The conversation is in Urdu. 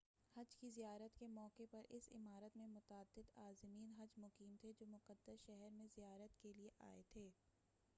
حج کی زیارت کے موقع پر اس عمارت میں متعدد عازمین حج مقیم تھے جو مقدس شہر میں زیارت کیلئے آئے تھے